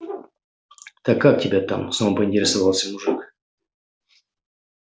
так как тебя там снова поинтересовался мужик